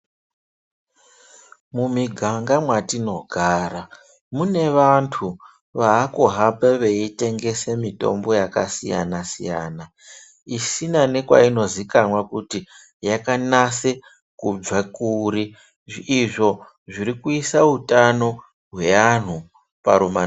Mumuiganga mwatinogara mune vantu vakuhamba vachitengese mitombo yakasiyana-siyana, izina nekwaino zikanwa kuti yakanase kubva kuri. Izvo zvirikuisa utano hweantu parumana nzombe.